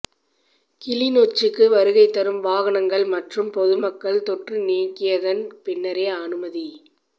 கிளிநொச்சிக்கு வருகைதரும் வாகனங்கள் மற்றும் பொதுமக்கள் தொற்று நீக்கியதன் பின்னரே அனுமதி